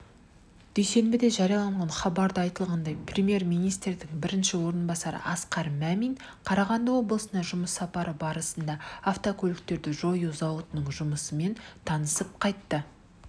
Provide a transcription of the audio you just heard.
дүйсенбіде жарияланған хабарда айтылғандай премьер-министрінің бірінші орынбасары асқар мәмин қарағанды облысына жұмыс сапары барысында автокөліктерді жою зауытының жұмысымен танысып қайтты